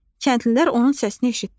Kəndlilər onun səsini eşitdilər.